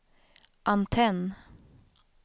antenn